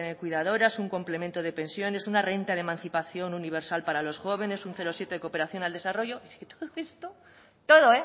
cuidadoras un complemento de pensiones una renta de emancipación universal para los jóvenes un cero coma siete de cooperación al desarrollo es que todo